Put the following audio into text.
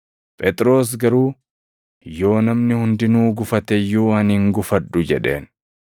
Phexros garuu, “Yoo namni hundinuu gufate iyyuu ani hin gufadhu” jedheen.